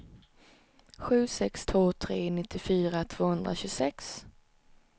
sju sex två tre nittiofyra tvåhundratjugosex